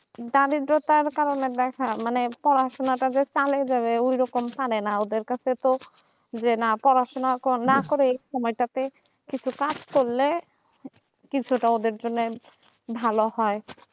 দারিদ্রতার কারণে দেখা মানে পড়াশোনাটা যে চালিয়ে যাবে এরকম পরে না ওদের কাছে তো যে পড়াশোনাটা না করে সময়টাতে পাস করলে কিছু তা ভালো হয়